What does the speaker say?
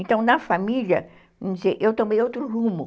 Então, na família, vamos dizer, eu tomei outro rumo.